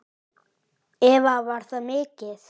Eva: Var það mikið?